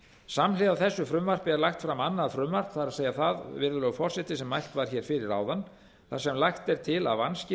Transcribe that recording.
samhliða þessu frumvarpi er lagt fram annað frumvarp það er það sem mælt var hér fyrir áðan þar sem lagt er til að vanskil á